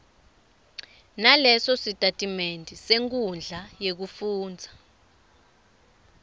nalesositatimende senkhundla yekufundza